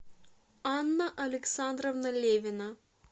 анна александровна левина